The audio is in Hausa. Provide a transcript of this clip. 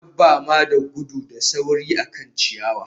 Dabama da gudu da sauri akan ciyawa